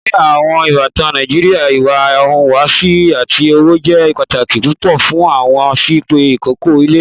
Ní àwọn ìbàtàn Nàìjíríà, ìwà ìhùwàsí àti ọ̀wọ́ jẹ́ pátàkì púpọ̀, wọn sì pe "ìkẹ́kọ̀ ilẹ̀."